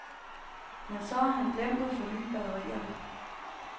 Men så har han glemt at forny batterierne.